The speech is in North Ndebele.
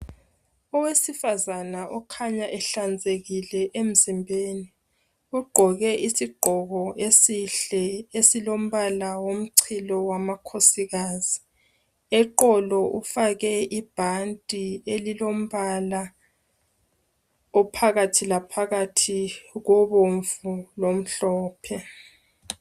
Owesifazana okhanya ehlanzekile emzimbeni, ogqoke isigqoko esihle esilombala womchilo wamakhosikazi. Eqolo ufake ibhanti elilombala ophakathi laphakathi kobomvu lomhlophe.